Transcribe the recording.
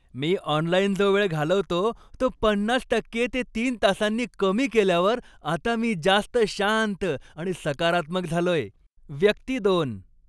मी online जो वेळ घालवतो तो पन्नास टक्के ते तीन तासांनी कमी केल्यावर आता मी जास्त शांत आणि सकारात्मक झालोय. व्यक्ती दोन